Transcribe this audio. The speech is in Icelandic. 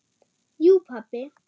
Jú pabbi.